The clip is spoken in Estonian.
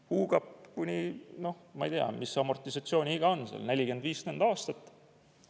Huugab, noh, ma ei tea, mis amortisatsiooniiga on seal, 45 aastat.